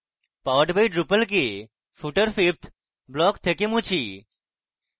powered by drupal কে footer fifth block থেকে মুছি